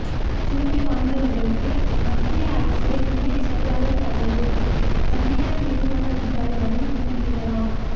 திறமை வாய்ந்தவர்களுக்கு மத்திய அரசில் இணைச்செயலாளர் பதவி தனியார் நிறுவன அதிகாரிகளும் விண்ணப்பிக்கலாம்